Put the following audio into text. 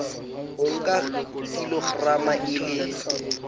o nka kilograma e le